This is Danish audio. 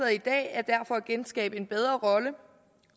i dag er derfor at genskabe en bedre rolle